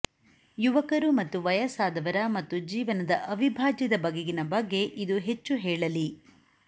ಯುವಕರು ಮತ್ತು ವಯಸ್ಸಾದವರ ಮತ್ತು ಜೀವನದ ಅವಿಭಾಜ್ಯದ ಬಗೆಗಿನ ಬಗ್ಗೆ ಇದು ಹೆಚ್ಚು ಹೇಳಲಿ